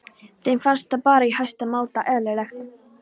Þeim fannst það bara í hæsta máta eðlilegt.